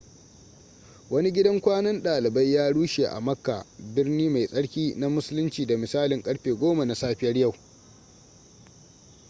wani gidan kwanan dalibai ya rushe a makka birni mai tsarki na musulinci da misalin karfe 10 na safiyar yau